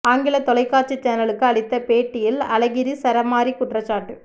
ஆங்கில தொலைக்காட்சி சேனலுக்கு அளித்த பேட்டியில் அழகிரி சரமாரி குற்றச்சாட்டு